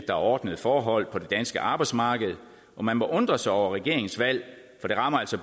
er ordnede forhold på det danske arbejdsmarked og man må undre sig over regeringens valg for det rammer altså